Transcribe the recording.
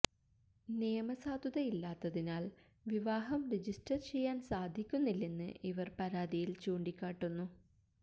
നിയമസാധുത ഇല്ലാത്തതിനാല് വിവാഹം രജിസ്റ്റര് ചെയ്യാന് സാധിക്കുന്നില്ലെന്ന് ഇവര് പരാതിയില് ചൂണ്ടിക്കാട്ടുന്നു